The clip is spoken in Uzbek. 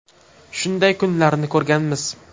Shunday kunlarni ko‘rganmiz.